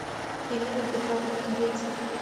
ирина петровна каретина